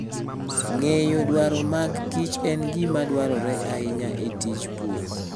Ng'eyo dwaro magkich en gima dwarore ahinya e tij pur.